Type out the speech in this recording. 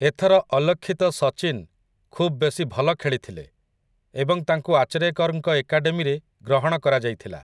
ଏଥର ଅଲକ୍ଷିତ ସଚିନ୍ ଖୁବ୍ ବେଶୀ ଭଲ ଖେଳିଥିଲେ ଏବଂ ତାଙ୍କୁ ଆଚରେକର୍‌ଙ୍କ ଏକାଡେମୀରେ ଗ୍ରହଣ କରାଯାଇଥିଲା ।